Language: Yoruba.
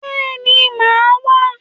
Bẹ́ẹ̀ni, màá wá